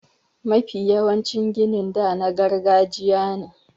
Mafi yawancin ginin da na gargajiya ne.